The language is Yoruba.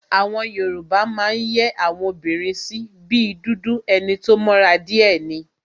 Àwọn Yoruba máa ń yẹ́ àwọn obìnrin sí, bí dúdú, enito mọ́ra díè ni,